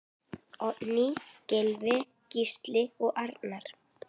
Oddný, Gylfi, Gísli og Arnar.